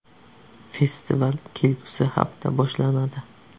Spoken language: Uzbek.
Festival kelgusi hafta boshlanadi.